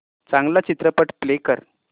चांगला चित्रपट प्ले कर